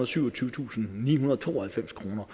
syvogtyvetusindnihundrede og tooghalvfems kroner